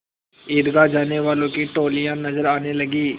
ईदगाह जाने वालों की टोलियाँ नजर आने लगीं